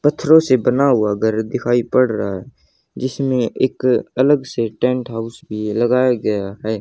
पत्थरों से बना हुआ घर दिखाई पड़ रहा जिसमें एक अलग से टेंट हाउस भी लगाया गया है।